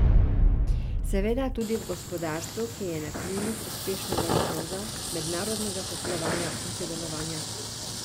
Seveda tudi v gospodarstvu, ki je na krilih uspešnega izvoza, mednarodnega poslovanja in sodelovanja.